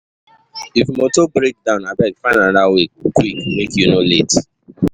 If motor break down, abeg find another way quick make you no late.